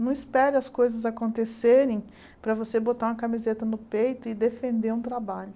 Não espere as coisas acontecerem para você botar uma camiseta no peito e defender um trabalho.